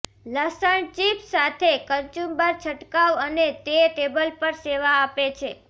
લસણ ચિપ્સ સાથે કચુંબર છંટકાવ અને તે ટેબલ પર સેવા આપે છે